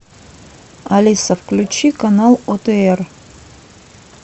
алиса включи канал отр